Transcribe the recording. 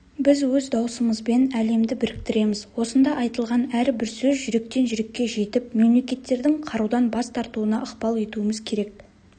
біз өз даусымызбен әлемді біріктіреміз осында айтылған әрбір сөз жүректен жүрекке жетіп мемлекеттердің қарудан бас тартуына ықпал етуіміз керек